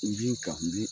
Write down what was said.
N bin ka n bi